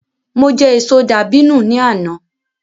Mo jẹ èso dàbínù ni àná